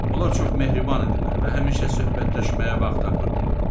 Onlar çox mehriban idilər və həmişə söhbətləşməyə vaxt tapırdılar.